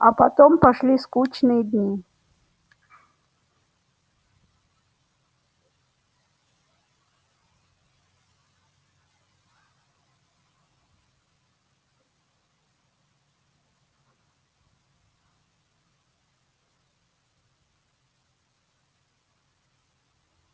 а потом пошли скучные дни